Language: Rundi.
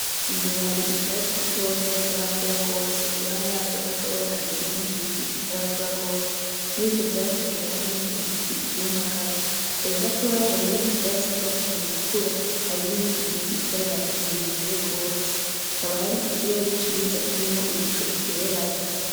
Imbere hari ivyatsi bitoya bitarakura gwose kuruhande yavyo gatoya hari ibindi biti bitarakura gwose. Murivyo vyatsi hagiye harimo ibiti vyumagaye .Kure gatoya hari ibindi vyatsi vyatanguye gukura hari n’ibindi biti vyabaye birebire gwose hakaba hari ikirere ciza kirimwo ibicu bigereranye.